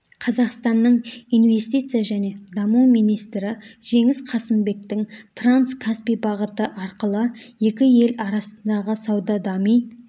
қазақстанның инвестиция және даму министрі жеңіс қасымбектің транс-каспий бағыты арқылы екі ел арасындағы сауда дами